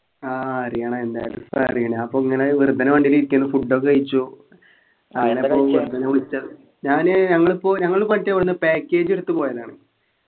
ആഹ് അറിയണം എന്തായാലും ഇപ്പൊ അറിയണം അപ്പൊ ഇങ്ങനെ വെറുതെന് വണ്ടിയിൽ ഇരിക്കാണ് food ഒക്കെ കഴിച്ചു അതിനൊപ്പം വിളിച്ചതാണ് ഞാന് ഞങ്ങയിപ്പോ ഞങ്ങള് മറ്റെ വന്നെ package എടുത്ത് പോയതാണ്